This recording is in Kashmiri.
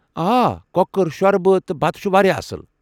آ، کۄکر شوربہٕ تہٕ بتہٕ چھُ واریاہ اصٕل ۔